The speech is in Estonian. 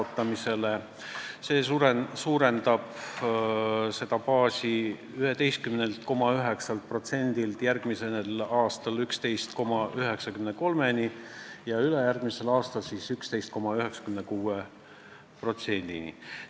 Tänu sellele suureneb see tulubaas järgmisel aastal 11,9%-lt 11,93%-ni ja ülejärgmisel aastal 11,96%-ni.